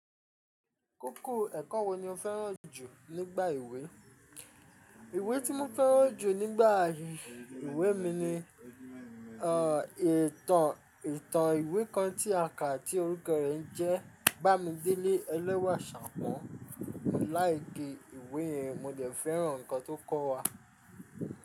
Kókó ẹ̀kọ́ wo ni o fẹ́ràn jù nígbà ìwé? Ìwé tí mo fẹ́ràn jù nígbà ìwé mi ni, ọ̀, ìtàn, ìtàn ìwé kan ti àkà tí orúkọ rẹ̀ ń jẹ́, Bami dele ẹlẹ́wà Ṣàpọ́n. Láì gẹ́ ìwé yẹn, mo dẹ̀ fẹ́ràn ǹkan tó kọ́ wa.